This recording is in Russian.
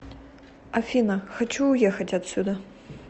афина хочу уехать отсюда